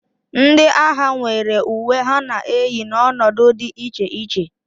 Ndị agha nwere uwe ha na-eyi n'ọnọdụ dị iche iche